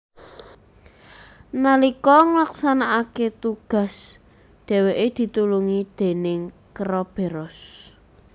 Nalika nglaksanakake tugas dheweke ditulungi déning keroberos